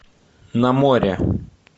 на море